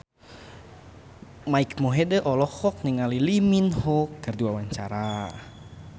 Mike Mohede olohok ningali Lee Min Ho keur diwawancara